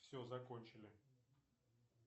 все закончили